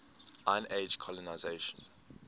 iron age colonisation